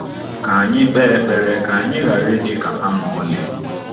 Ka anyị kpe ekpere ka anyị ghara ịdị ka ha ma ọlị.